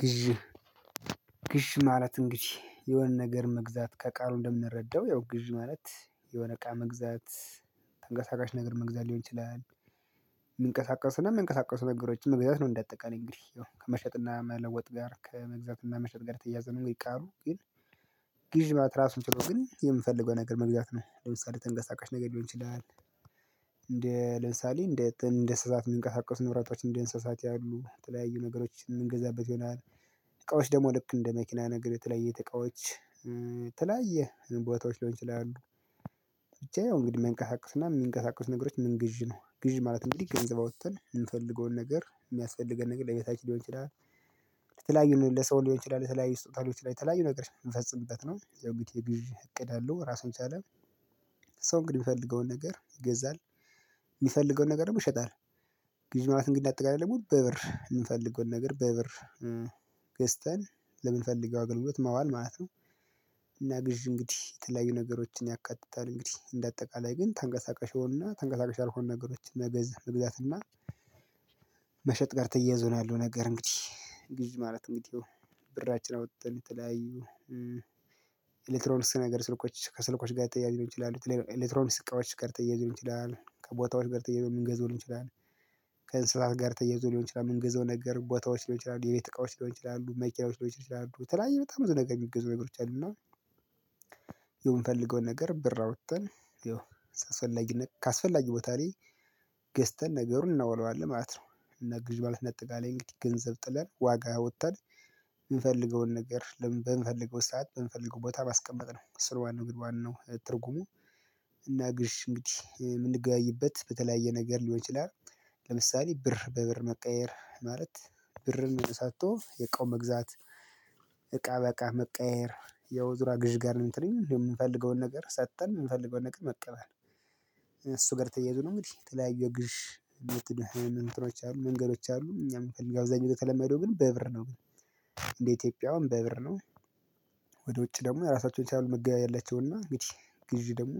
ግዢ ግዢ ማለት እንግዲህ የሆነ ነገር መግዛት። ከቃሉ እንደምንረዳው ያው ግዢ ማለት የሆነ እቃ መግዛት ተንቀሳቃሽ ነገር መግዛት ሊሆን ይችላል። የምንቀሳቀሱ ነገሮችን መግዛት ነው እንደ አጠቃላይ። እንግዲህ ያው ከመሸጥና መለወጥ ጋር ከመግዛትና መሸጥ ጋር ተያያዘ ነው ይህ ቃሉ ግን ግዥ ማለት ራሱን ችሎ ግን የምፈልገው ነገር መግዛት ነው። ለምሳሌ ተንገሳቃሽ ነገር ሊሆን ይችላል እንደ ለምሳሌ እንደ እንደ እንስሳት የሚንቀሳቀሱ ንብረቶች እንደ እንስሳት ያሉ የተለያዩ ነገሮች የምንገዛበት ይሆናል። እቃዎች ደግሞ ልክ እንደ መኪና ነገር የተለያዩ የቤት እቃዎች የተለያየ ቦታዎች ሊሆን ይችላሉ ብቻ ያው እንግዲህ የማይንቀሳቅስና የሚንቀሳቅስ ነገሮች ምን ግዥ ነው። ግዥ ማለት እንዲህ ገንዘብ አውጥተን የምፈልገውን ነገር የሚያስፈልገን ነገር ለቢታችን ሊሆን ይችላል የተላያየ ነው። ለሰው ሊሆን ይችላል የተለያዩ ስጦታዎች ሊሆን ይችላል የተለያዩ ነገር የምንፈጽምበት ነው። ያ እንግዲህ ግዥ እቅድ አለው ራሱን ቻለ። ሰው እንግዲህ የሚፈልገውን ነገር ይገዛል። የሚፈልገውን ነገር ይሸጣል። ግዥ ማለት እንግዲህ እንደ አጠቃላይ ድግሞ በብር የምንፈልገውን ነገር በብር ገዝተን ለምንፈልገው አገልግሎት ማዋል ማለት ነው። እና ግዥ እንግዲህ የተለያዩ ነገሮችን ያካትታል። እንግዲህ እንደ አጠቃላይ ግን ተንገሳቀሽ የሆኑና ተንገሳቀሽ ያልሆኑ ነገሮችን መገዝ መግዛትና እና መሸጥ ጋር ተያይዞ ነው ያለው ነገር እንግዲህ። ግዢ ማለት እንግዲህ ብራችን አውጥተን የተለያዩ ኤሌክትሮንስ ነገር ስልኮች ከስልኮች ጋር የተያያዙ ሊሆኑ ይችላል። የተለያዩ ኤሌክትሮኒክስ እቃዎች ጋር ተያይዞ ሊሆን ይችላሉ። ከቦታዎች ጋር ተያይዞ ምንገዛው ሊሆን ይችላለን። ከእንስሳት ጋር ተያይዞ ሊሆን ይችላል። ምንገዛው ነገር ቦታዎች ሊሆን ይችላል፣ የቤት እቃዎች ሊሆን ይችላል፣ መኪናዎች ሊሆን ይችላሉ፣ የተለያየ በጣም ብዙ ነገር የሚገዙ ነገሮች አሉና የምፈልገውን ነገር ብር አውጥተን ያው አስፈነት ካስፈላጊ ቦታ ላይ ገዝተን ነገሩን እናውለዋለን ማለት ነው። እና ግዥ ማለት እንዳጠቃላይ እንግዲህ ገንዘብ ጥለን ዋጋ አውጥተን የምፈልገውን ነገር ለምን በምንፈልገው ሰዓት በምንፈልገው ቦታ ማስቀመጥ ነው። እሱ ነው ዋናው እንግዲህ ዋናው ትርጉሙ እና ግዥ እንግዲህ የምንገያይበት በተለያየ ነገር ሊሆን ይችላል። ለምሳሌ ብር በብር መቀየር ማለት ብርን ሰጥቶ እቃውን መግዛት፤ እቃ በእቃ መቀየር የውዝራ ግዥ ጋር እንትን የምንፈልገውን ነገር ሰጥተን የምንፈልገውን ነገር መቀበል። እሱ ጋር ተያይዞ ነው እንግዲህ የተለያየ የግዥ ሜትድ ወይም አንትኖች አሉ መንገዶች አሉ እኛም አብዛኛው የተለመደው ግን በብር ነው። እንዴ ኢትዮጵያውን በብር ነው። ወደ ውጭ ደግሞ የራሳቸውን የቻለ መገያየት አላቸውና እንግዲህ ግዢ ደግሞ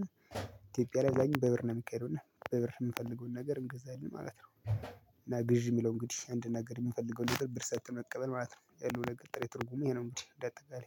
ኢትዮጵያ ላይ አብዛኛውን በብር ነው የሚካሄደውና በብር የምፈልገውን ነገር እንገዛለን ማለት ነው። እና ግዢ የሚለው እንግዲህ አንድ ነገር የምፈልገው ነገር ብር ሰጥተን መቀበል ማለት ነው። ያለው ነገር ጥሬ ትርጉሜ ይሄ ነው እንግዲህ እንደ አጠቃላይ።